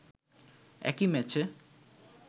একই ম্যাচে